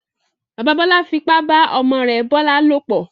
Bàbá Bọ́lá fipá bá ọmọ rẹ̀ Bọ́lá lòplọ̀.